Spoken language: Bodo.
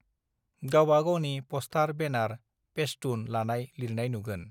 गावबा गावनि पस्थार बेनार पेसटुन लानाय लिरनाय नुगोन